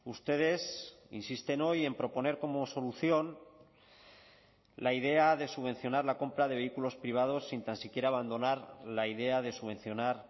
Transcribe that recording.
ustedes insisten hoy en proponer como solución la idea de subvencionar la compra de vehículos privados sin tan siquiera abandonar la idea de subvencionar